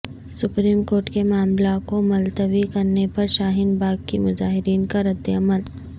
supreme court کے معاملہ کو ملتوی کرنے پر شاہین باغ کی مظاہرین کا رد عمل